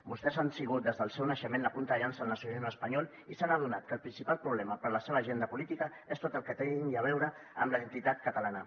vostès han sigut des del seu naixement la punta de llança del nacionalisme espanyol i s’han adonat que el principal problema per a la seva agenda política és tot el que tingui a veure amb la identitat catalana